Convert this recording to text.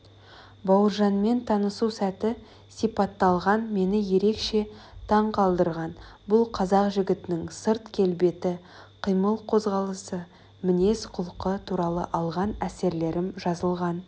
бауыржанмен танысу сәті сипатталған мені ерекше таңқалдырған бұл қазақ жігітінің сырт келбеті қимыл-қозғалысы мінез-құлқы туралы алған әсерлерім жазылған